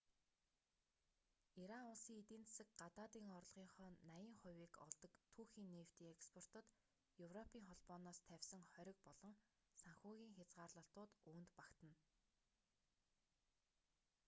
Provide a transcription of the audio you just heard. иран улсын эдийн засаг гадаадын орлогынхоо 80%-ийг олдог түүхий нефтийн экспортод европийн холбооноос тавьсан хориг болон санхүүгийн хязгаарлалтууд үүнд багтана